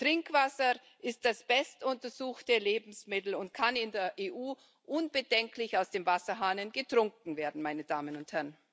Trinkwasser ist das bestuntersuchte Lebensmittel und kann in der EU unbedenklich aus dem Wasserhahn getrunken werden, meine Damen und Herren.